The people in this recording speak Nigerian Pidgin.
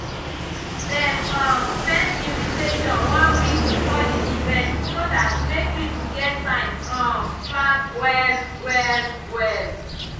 dem um send invitation one week before the event so dat make people get time um plan well well well